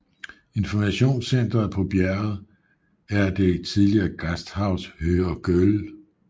Informationscenteret på bjerget er det tidligere Gasthaus Höher Göll